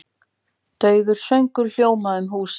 Daufur söngur hljómandi um húsið.